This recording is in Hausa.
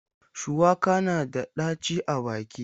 Shuwaka na da ɗaci a baki.